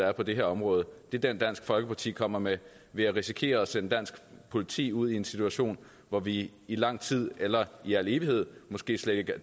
er på det her område er den dansk folkeparti kommer med ved at risikere at sende dansk politi ud i en situation hvor vi i lang tid eller i al evighed måske slet ikke er